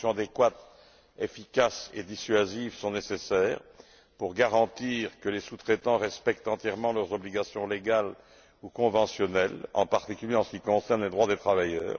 Des sanctions adéquates, efficaces et dissuasives sont nécessaires pour garantir que les sous traitants respectent entièrement leurs obligations légales ou conventionnelles, en particulier en ce qui concerne les droits des travailleurs.